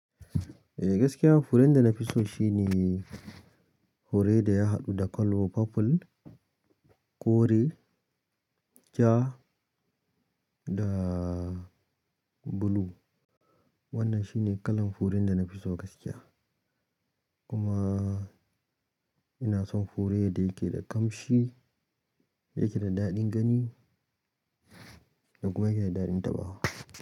E gaskiya furen da na fi so shine. Fure da ya haɗu da kalo purple, kore, ja da blue. Wannan shine kalan furen da na fi so gaskiya kuma. Ina son fure da yake da ƙamshi, da yake da daɗin gani kuma yake da daɗin taɓawa.